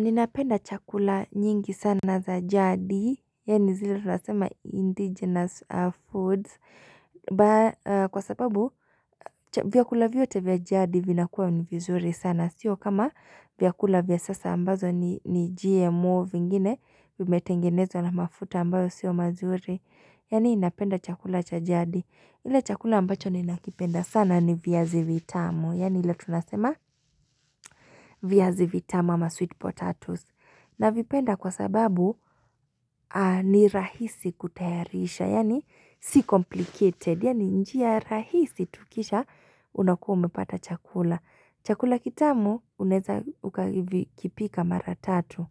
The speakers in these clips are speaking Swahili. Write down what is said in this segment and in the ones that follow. Ninapenda chakula nyingi sana za jadi, yani zile tunasema indigenous foods, kwa sababu vyakula vyote vya jadi vinakuwa ni vizuri sana, sio kama vyakula vya sasa ambazo ni GMO vingine, vimetengenezwa na mafuta ambayo sio mazuri, yaani ninapenda chakula cha jadi. Ile chakula ambacho ni nakipenda sana ni viazi vitamu, yaani ila tunasema viazi vitamu ama sweet potatoes. Na vipenda kwa sababu ni rahisi kutayarisha, yaani si complicated, yaani njia rahisi tu kisha unakume pata chakula. Chakula kitamu, unaeza ukakipika mara tatu.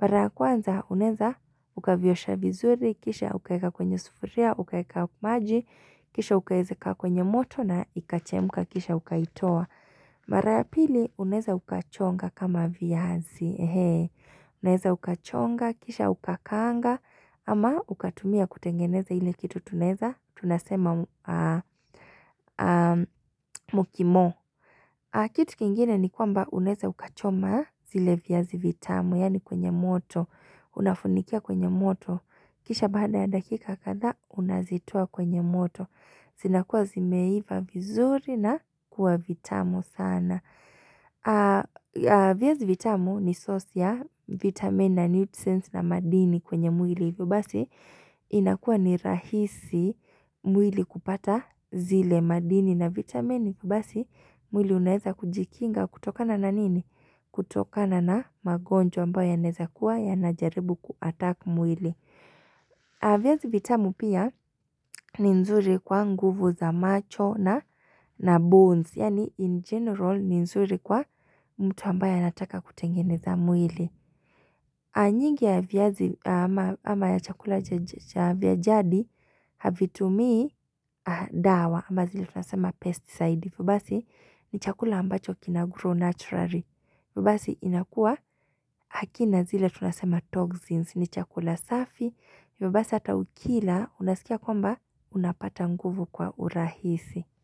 Mara kwanza, unaeza, ukaviyosha vizuri kisha ukaeka kwenye sufuria, ukaeka maji, kisha ukaeze kwenye moto na ikachemka, kisha ukaitoa. Mara ya pili, uneza ukachonga kama viazi, unaeza ukachonga, kisha ukakaanga, ama ukatumia kutengeneza ile kitu tunasema mukimo. Kitu kingine ni kwamba unaeza ukachoma zile viazi vitamu, yaani kwenye moto, unafunikia kwenye moto, kisha baada ya dakika kadhaa unazitoa kwenye moto, sinakuwa zimeiva vizuri na kuwa vitamu sana. Viazi vitamu ni source ya vitamin na nutrients na madini kwenye mwili, hivo basi inakuwa ni rahisi mwili kupata zile madini na vitamin vibasi mwili unaeza kujikinga kutokana na nini? Kutokana na magonjwa ambayo yanaeza kuwa yanajaribu kuhataki mwili viazi vitamu pia ni nzuri kwa nguvu za macho na bones. Yaani in general ni zuri kwa mtu ambaye anataka kutengeneza mwili. Nyingi ya chakula vya jadi havitumii dawa amba zile tunasema pesticide. Hivo basi ni chakula ambacho kinagrow naturally. Hivo basi inakua hakina zile tunasema toxins ni chakula safi. Hivo basi hata ukila unasikia kwamba unapata nguvu kwa urahisi.